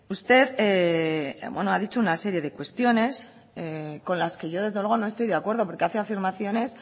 usted ha dicho una serie de cuestiones con las que yo desde luego no estoy de acuerdo porque hace afirmaciones